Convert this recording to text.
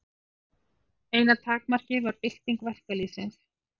Eina takmarkið var bylting verkalýðsins.